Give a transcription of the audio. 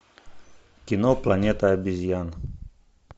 кино планета обезьян